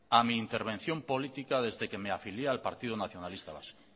a mi intervención política desde que me afilié al partido nacionalista vasco